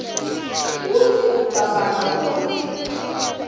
kutsi ucabanga kutsi